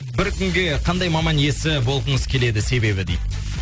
бір күнге қандай маман иесі болғыңыз келеді себебі дейді